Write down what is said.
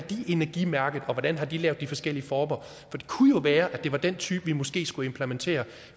energimærket og hvordan de har lavet de forskellige former for det kunne jo være at det var den type vi måske skulle implementere